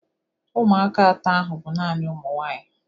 Ụmụaka atọ ahụ bụ naanị ụmụ nwaanyị.